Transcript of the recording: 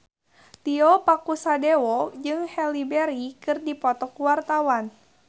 Tio Pakusadewo jeung Halle Berry keur dipoto ku wartawan